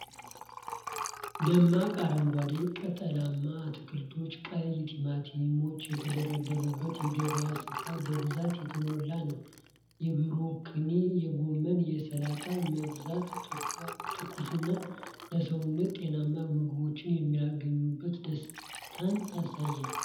ደማቅ አረንጓዴ ቅጠላማ አትክልቶችና ቀይ ቲማቲሞች የተደራረቡበት የገበያ ስፍራ በብዛት የተሞላ ነው። የብሮኮሊ፣ የጎመንና የሰላጣ መብዛት ትኩስና ለሰውነት ጤናማ ምግብ የማግኘት ደስታን ያሳያል።